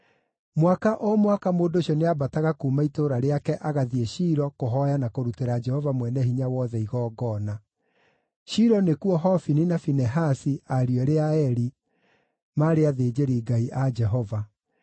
Mwaka o mwaka mũndũ ũcio nĩambataga kuuma itũũra rĩake agathiĩ Shilo kũhooya na kũrutĩra Jehova Mwene-Hinya-Wothe igongona. Shilo nĩkuo Hofini na Finehasi, ariũ eerĩ a Eli, maarĩ athĩnjĩri-Ngai a Jehova.